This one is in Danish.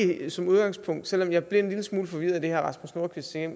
det som udgangspunkt ikke selv om jeg blev en lille smule forvirret af det herre rasmus nordqvist sagde